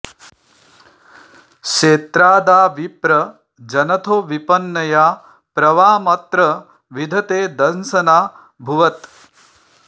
क्षेत्रा॒दा विप्रं॑ जनथो विप॒न्यया॒ प्र वा॒मत्र॑ विध॒ते दं॒सना॑ भुवत्